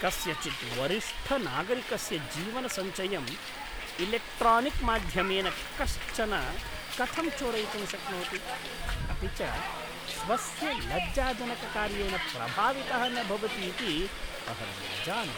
कस्यचित् वरिष्ठनागरिकस्य जीवनसञ्चयं इलेक्ट्रानिक्माध्यमेन कश्चन कथं चोरयितुं शक्नोति, अपि च स्वस्य लज्जाजनककार्येण प्रभावितः न भवतीति अहं न जाने।